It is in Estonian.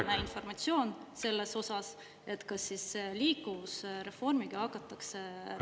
… viimane informatsioon selles osas, kas liikuvusreformiga hakatakse reaalselt …